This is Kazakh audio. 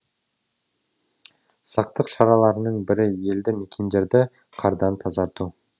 сақтық шараларының бірі елді мекендерді қардан тазарту